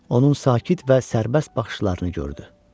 Onun sakit və sərbəst baxışlarını gördü.